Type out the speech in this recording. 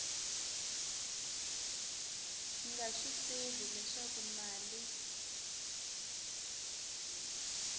nga swi tivi leswaku mali